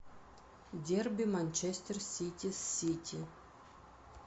дерби манчестер сити с сити